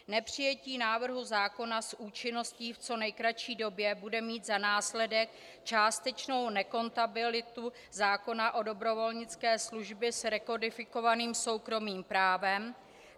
Nepřijetí návrhu zákona s účinností v co nejkratší době bude mít za následek částečnou nekompatibilitu zákona o dobrovolnické službě s rekodifikovaným soukromým právem.